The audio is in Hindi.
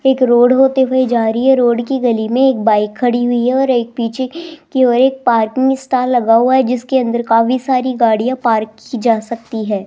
एक रोड होते हुए जा रही है रोड की गली में एक बाइक खड़ी हुई है और एक पीछे की ओर एक पार्किंग स्टॉल लगा हुआ है जिसके अंदर काफी सारी गाड़ियां पार्क की जा सकती है।